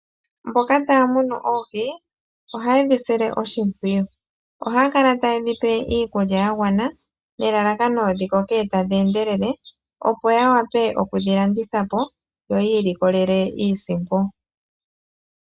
Mboka haya munu oohi ohaye dhi sile oshipwiyu .Ohaya kala taye dhi tekula niikulya yagwana nelalakano dhikoke tadhi endelele opo ya wape okudhi landitha po yi mone iiyemo.